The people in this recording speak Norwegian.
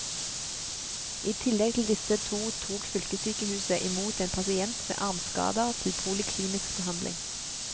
I tillegg til disse to tok fylkessykehuset i mot en pasient med armskader til poliklinisk behandling.